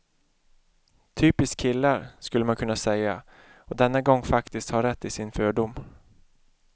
Typiskt killar, skulle man kunna säga och denna gång faktiskt ha rätt i sin fördom.